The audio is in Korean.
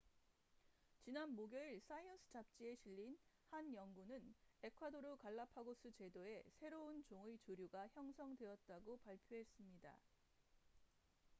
지난 목요일 사이언스 잡지에 실린 한 연구는 에콰도르 갈라파고스 제도에 새로운 종의 조류가 형성되었다고 발표했습니다